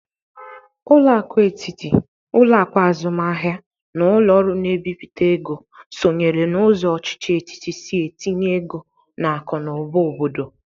Ụlọakụ etiti, ụlọakụ azụmahia na ụlọ ọrụ na-ebipụta ego sonyere n'ụzọ ọchịchị etiti si etinye ego n'akụ na ụba obodo.